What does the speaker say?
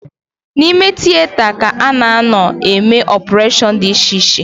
N'ime tieta ka a na-anọ eme ọpụreshọn dị icheiche